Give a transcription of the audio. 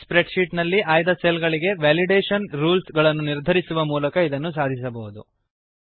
spread sheet ನಲ್ಲಿ ಆಯ್ದ cell ಗಳಿಗೆ ವೆಲಿಡೇಶನ್ ರೂಲ್ಸ್ ಗಳನ್ನು ನಿರ್ಧರಿಸುವ ಮೂಲಕ ಇದನ್ನು ಸಾಧಿಸಬಹುದು